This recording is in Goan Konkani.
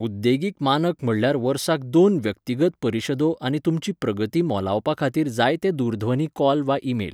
उद्देगीक मानक म्हणल्यार वर्साक दोन व्यक्तिगत परिशदो आनी तुमची प्रगती मोलावपा खातीर जायते दूरध्वनी कॉल वा ईमेल.